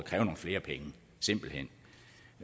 simpelt hen